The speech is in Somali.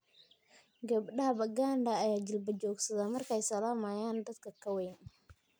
Gabdhaha Baganda ayaa jilba joogsadaa maarkay salaamayan dadka ka weyn.